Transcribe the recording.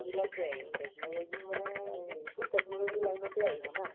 সেইবিলাকে আৰু technology ও মানে এইটোও technology ৰ line তে আহিব না